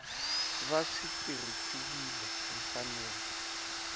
va swi tirhisiwile hi mfanelo